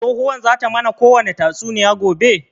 Tsohuwan zata mana kowani tatsuniya gobe?